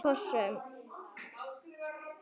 Með kossum.